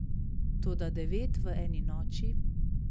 Toda devet v eni noči ...